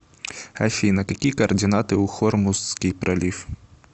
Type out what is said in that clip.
афина какие координаты у хормузский пролив